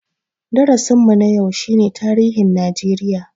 Darasin mu na yau shi ne tarihin Najeriya